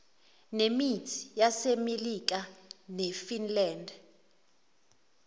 nemit yasemelika nefinland